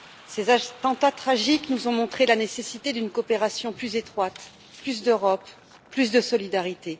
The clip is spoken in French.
Ces attentats tragiques nous ont montré la nécessité d'une coopération plus étroite, plus d'Europe, plus de solidarité.